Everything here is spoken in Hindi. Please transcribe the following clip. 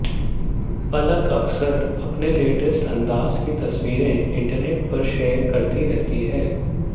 पलक अक्सर अपने लेटेस्ट अंदाज की तस्वीरें इंटरनेट पर शेयर करती रहती हैं